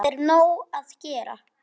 Það er nóg að gera.